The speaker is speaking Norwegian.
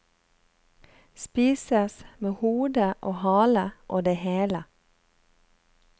Spises med hode og hale og det hele.